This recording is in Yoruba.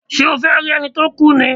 Ṣé o fẹ́ rí ẹni tó kú ni?